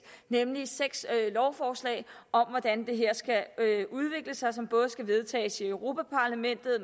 nemlig seks lovforslag om hvordan det her skal udvikle sig som både skal vedtages i europa parlamentet